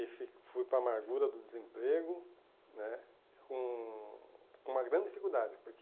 e fi fui para a amargura do desemprego né com com uma grande dificuldade porque.